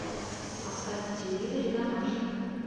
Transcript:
поставь на телевизоре домашний